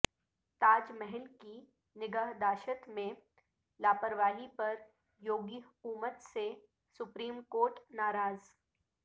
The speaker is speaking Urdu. تاج محل کی نگہداشت میں لاپرواہی پر یوگی حکومت سے سپریم کورٹ ناراض